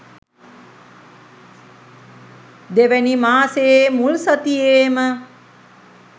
දෙවැනි මාසයේ මුල් සතියේම